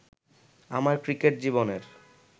আমার ক্রিকেট জীবনের